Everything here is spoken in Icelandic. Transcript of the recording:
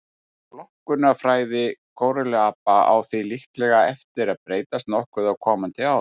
Flokkunarfræði górilluapa á því líklega eftir að breytast nokkuð á komandi árum.